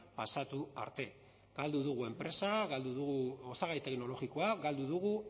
pasatu arte galdu dugu enpresa galdu dugu osagai teknologikoa galdu dugu